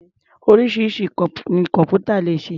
Oríṣiríṣi nǹkan ni kọ̀m̀pútà lè ṣe.